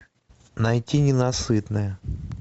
найти ненасытная